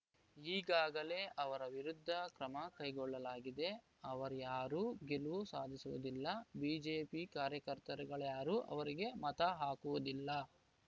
ಈಗಾಗಲೇ ಅವರ ವಿರುದ್ಧ ಕ್ರಮ ಕೈಗೊಳ್ಳಲಾಗಿದೆ ಅವರಾರ‍ಯರು ಗೆಲುವು ಸಾಧಿಸುವುದಿಲ್ಲ ಬಿಜೆಪಿ ಕಾರ್ಯಕರ್ತರುಗಳ್ಯಾರು ಅವರಿಗೆ ಮತ ಹಾಕುವುದಿಲ್ಲ